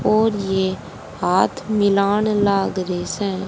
और ये हाथ मिलान लाग रे से।